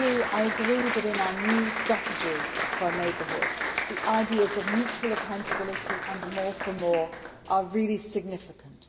I agree that, in our new strategy for our neighbourhood, the ideas of mutual accountability and more for more' are really significant.